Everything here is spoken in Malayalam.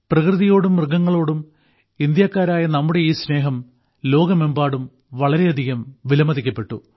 പ്രകൃതിയോടും മൃഗങ്ങളോടും ഇന്ത്യാക്കാരായ നമ്മുടെ ഈ സ്നേഹം ലോകമെമ്പാടും വളരെയധികം വിലമതിക്കപ്പെട്ടു